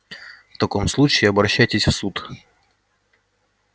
в таком случае обращайтесь в суд